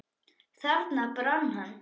Þarna brann hann.